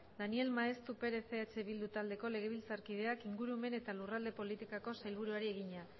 daniel maeztu perez eh bildu taldeko legebiltzarkideak ingurumen eta lurralde politikako sailburuari egina